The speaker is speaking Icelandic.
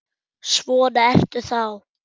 Svona ertu þá!